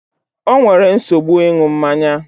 O nwere nsogbu ịṅụ mmanya